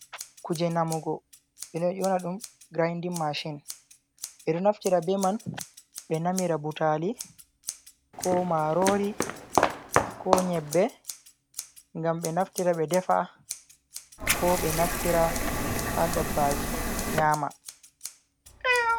Kuje namugo ɓe ɗo yona ɗum grindin mashin, ɓe ɗo naftira be man be namira butali, ko marori, ko nyebbe, ngam ɓe naftira ɓe defa, ko be naftira ha dabbaji nyama.